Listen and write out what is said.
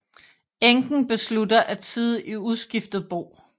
Enken beslutter at sidde i uskiftet bo